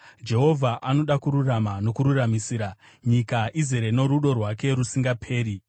Jehovha anoda kururama nokururamisira; nyika izere norudo rwake rusingaperi.